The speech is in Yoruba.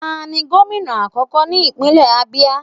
Ta ni gomina akoko ni ipinlẹ Abia?